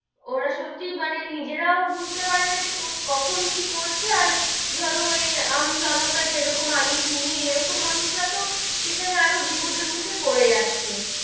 ওরা সত্যি মানে নিজেরাও বুঝতে পারে না যে কখন কি করছে, আর ধরো ওই আমি জনতা যেরকম আমি তুমি এরকম মানুষ রা তো সেখানে আরও বিপদের মুখে পরে যাচ্ছে,